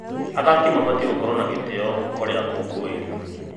Athaki mabatiĩ gũkorwo na gĩtĩo kũrĩ akũngũĩri.